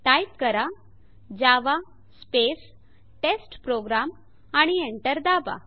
type करा Java space test program आणि enter दाबा